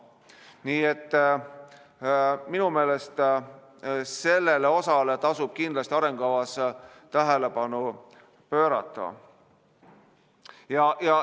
Nii et minu meelest sellele osale tasub kindlasti arengukavas tähelepanu pöörata.